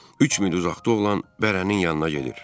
Üç mil uzaqda olan bərənin yanına gedir.